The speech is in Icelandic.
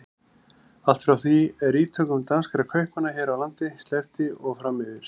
Allt frá því er ítökum danskra kaupmanna hér á landi sleppti og fram yfir